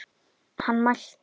Hann mælti.